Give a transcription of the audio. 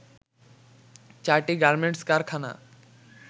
চারটি গার্মেন্টস কারখানা